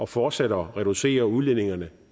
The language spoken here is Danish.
fortsat at reducere udledningerne